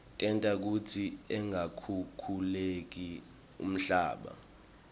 tenta kutsi ungakhukhuleki umhlaba